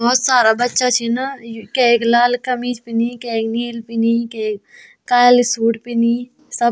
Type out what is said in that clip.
भौत सारा बच्चा छिन यु कैक लाल कमीज पैनी कैक नीली पैनी कैक काली सूट पैनी सब।